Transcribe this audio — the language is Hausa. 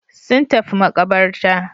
Sun tafi maƙabarta.